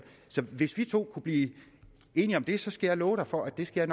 så hvis vi to kunne blive enige om det skal jeg love for at det skal